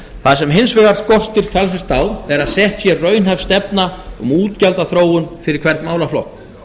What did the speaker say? það sem hins vegar skortir talsvert á er að sett sé raunhæf stefna um útgjaldaþróun fyrir hvern málaflokk